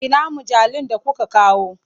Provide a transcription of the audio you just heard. Ina mujallun da kuka kawo?